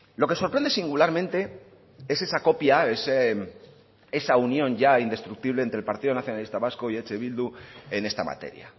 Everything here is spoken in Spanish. lo que sorprende singularmente es esa copia esa unión ya indestructible entre el partido nacionalista vasco y eh bildu en esta materia